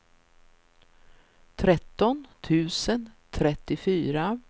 tretton tusen trettiofyra